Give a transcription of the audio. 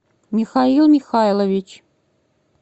михаил михайлович